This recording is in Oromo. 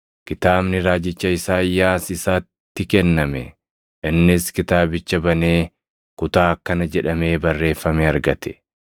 kitaabni raajicha Isaayyaas isatti kenname. Innis kitaabicha banee kutaa akkana jedhamee barreeffame argate: